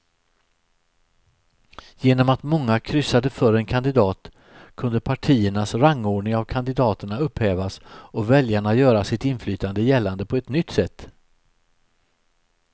Genom att många kryssade för en kandidat kunde partiernas rangordning av kandidaterna upphävas och väljarna göra sitt inflytande gällande på ett nytt sätt.